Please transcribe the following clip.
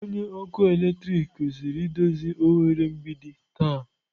Onye ọkụ eletrik kwesịrị idozi oghere mgbidi taa.